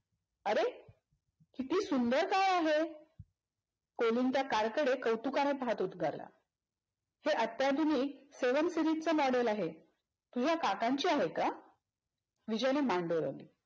किती सुंदर car आहे. कोलिन त्या car कडे कौतुकाने पाहत उद्गारला. हे अत्याधुनिक seven series च model आहे. तुझ्या काकांची आहे का? विजयने मान डोलावली.